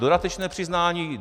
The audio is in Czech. Dodatečné přiznání.